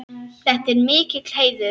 Þetta er mikill heiður.